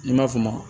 N'i m'a f'o ma